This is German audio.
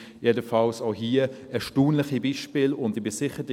Jedenfalls sind dies auch erstaunliche Beispiele, und ich bin sicher: